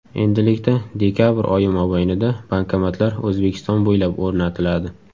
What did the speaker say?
Endilikda dekabr oyi mobaynida bankomatlar O‘zbekiston bo‘ylab o‘rnatiladi.